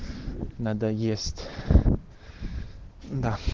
надоест